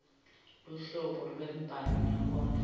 luhlobo lwembhalo nenkondlo